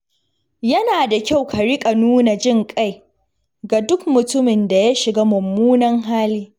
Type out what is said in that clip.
Yana da kyau ka riƙa nuna jin ƙai ga duk mutumin da ya shiga mummunan hali.